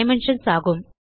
dimensions ஆகும்